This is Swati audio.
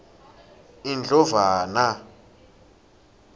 indlovana